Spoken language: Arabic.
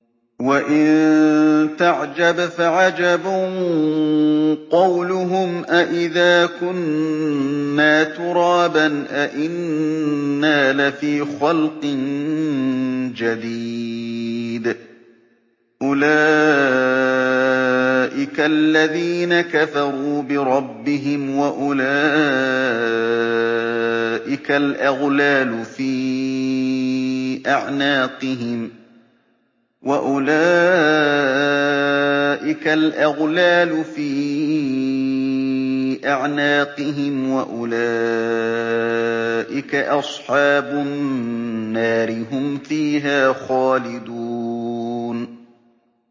۞ وَإِن تَعْجَبْ فَعَجَبٌ قَوْلُهُمْ أَإِذَا كُنَّا تُرَابًا أَإِنَّا لَفِي خَلْقٍ جَدِيدٍ ۗ أُولَٰئِكَ الَّذِينَ كَفَرُوا بِرَبِّهِمْ ۖ وَأُولَٰئِكَ الْأَغْلَالُ فِي أَعْنَاقِهِمْ ۖ وَأُولَٰئِكَ أَصْحَابُ النَّارِ ۖ هُمْ فِيهَا خَالِدُونَ